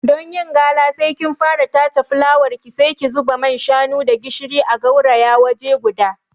Don yin gala, sai ki fara tace fulawarki, sai ki zuba man shanu da gishiri a gauraya waje guda.